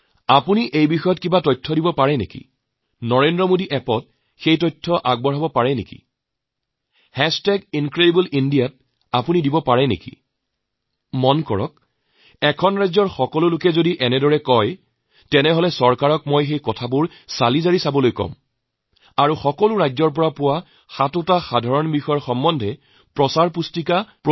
আপুনি এই বিষয়ৰ যিকোনো তথ্য দিব নোৱাৰেনে Narendramodiappত এইবোৰ ৰাখিব নোৱাৰিনে ইনক্ৰেডিবল ইণ্ডিয়া ত ৰাখিব নোৱাৰেনে আপুনি চাব এখন ৰাজ্যৰ সকলোৱে যদি এইবোৰ তথ্য পঠায় তেতিয়া হলে মই চৰকাৰক কম সেইবোৰ নিৰীক্ষণ কৰক আৰু সাতটি উমৈহতীয়া বিষয়ৰ প্ৰত্যেক ৰাজ্যৰ পৰা আহিলে সেইবোৰৰ লৈ প্ৰচাৰৰ ব্যৱস্থা কৰক